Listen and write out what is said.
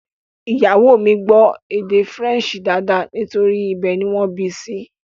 Ìyàwó o mi gbó èdè faransé dáadáa nítorí pé ibẹ̀ ni wọ́n bí i sí